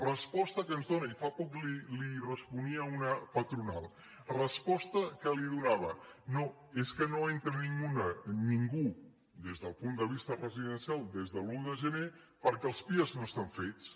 resposta que ens dóna i fa poc li responia una patronal respos·ta que li donava no és que no entra ningú des del punt de vista residencial des de l’un de gener perquè els pia no estan fets